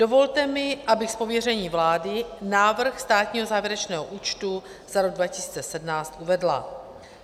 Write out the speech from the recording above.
Dovolte mi, abych z pověření vlády návrh státního závěrečného účtu za rok 2017 uvedla.